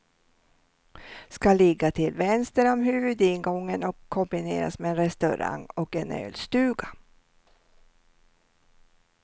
Ska ligga till vänster om huvudingången och kombineras med en restaurang och en ölstuga.